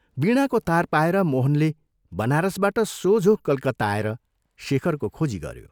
वीणाको तार पाएर मोहनले बनारसबाट सोझो कलकत्ता आएर शेखरको खोजी गऱ्यो।